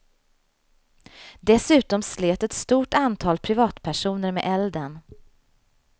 Dessutom slet ett stort antal privatpersoner med elden.